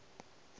je le ge e ka